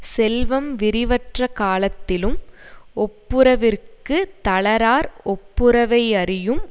செல்வம் விரிவற்ற காலத்திலும் ஒப்புரவிற்குத் தளரார் ஒப்புரவை யறியும்